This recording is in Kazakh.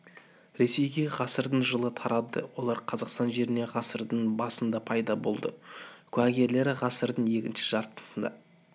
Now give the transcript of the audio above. ресейге ғасырдың жылы тарады олар қазақстан жеріне ғасырдың басында пайда болды куәгерлері ғасырдың екінші жартысында